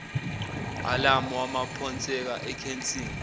alamu waphonseka ekheshini